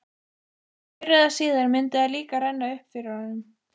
Fyrr eða síðar myndi það líka renna upp fyrir honum.